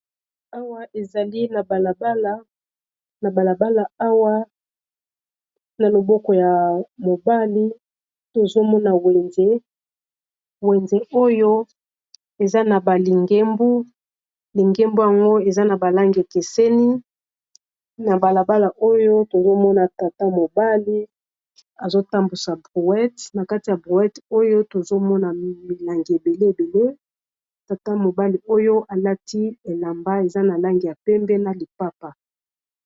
Awa ezali na balabala awa na loboko ya mobali tozomona wenze ,wenze oyo eza na baligemblingembo yango eza na balange ekeseni na balabala oyo tozomona tata mobali azotambusa brouet na kati ya brouet oyo tozomona milangi ebele ebele tata mobali oyo alati elamba eza na lange ya pembe na lipapa.